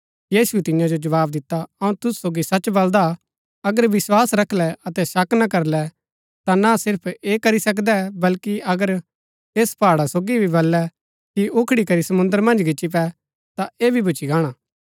यीशुऐ तियां जो जवाव दिता अऊँ तुसु सोगी सच बलदा अगर विस्वास रखलै अतै शक ना करलै ता ना सिर्फ ऐह करी सकदै बल्कि अगर ऐस पहाड़ा सोगी भी बललै कि उखड़ी करी समुंद्र मन्ज गिच्ची पै ता ऐह भी भूच्ची गाणा